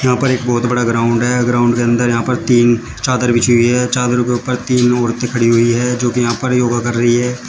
उपर एक बहुत बड़ा ग्राउंड है ग्राउंड के अंदर जहां पर तीन चादर बिछी हुई हैं चादर के ऊपर तीन औरतें खड़ी हुई है जो कि जहां पर योगा कर रही हैं।